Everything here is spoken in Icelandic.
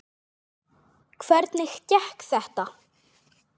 Hvernig gekk þetta?